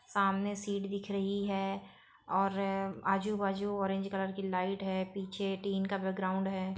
सामने सीट दिख रही हैऔर आजु बाजू ऑरेंज कलर की लाइट है। पीछे टीन का बैग्राउंड है ।